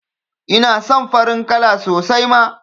Ina son farin kala sosai ma